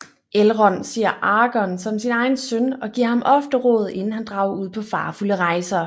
Elrond ser Aragon som sin egen søn og gir ham ofte råd inden han drager ud på farefulde rejser